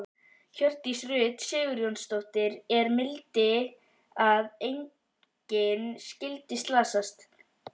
Hjördís Rut Sigurjónsdóttir: Er mildi að engin skyldi slasast?